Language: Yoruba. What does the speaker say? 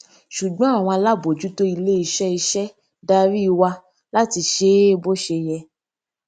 ṣùgbọn àwọn alábòójútó ilé iṣé iṣé darí wa láti ṣe é bó ṣe yẹ